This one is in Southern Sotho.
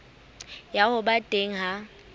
ya ho ba teng ha